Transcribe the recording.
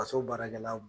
Ka so baarakɛla